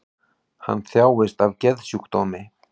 Hann þjáist af geðsjúkdómi